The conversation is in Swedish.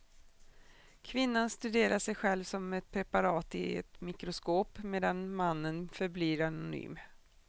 Kvinnan studerar sig själv som ett preparat i ett mikroskop, medan mannen förblir anonym.